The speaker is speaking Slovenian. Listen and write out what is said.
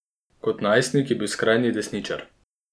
Kot najstnik je bil skrajni desničar.